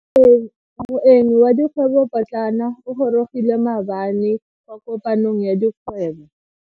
Moeng wa dikgwebo potlana o gorogile maabane kwa kopanong ya dikgwebo.